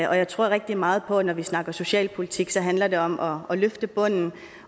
og jeg tror rigtig meget på at det når vi snakker socialpolitik så handler om om at løfte bunden